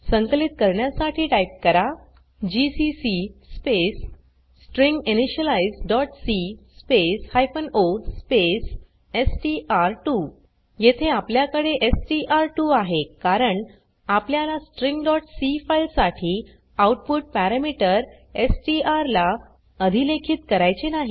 संकलित करण्यासाठी टाइप करा जीसीसी स्पेस stringinitializeसी स्पेस o स्पेस एसटीआर2 येथे आपल्याकडे एसटीआर2 आहे कारण आपल्याला stringसी फाइल साठी आउटपुट पॅरमीटर एसटीआर ला अधिलेखित करायचे नाही